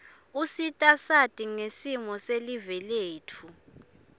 usita sati ngesimo silive letfu